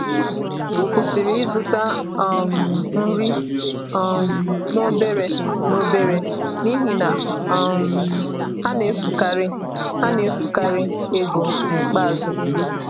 m kwụsịrị ịzụta um nri um n’obere n’obere n’ihi na um ha na-efukarị ha na-efukarị ego n’ikpeazụ.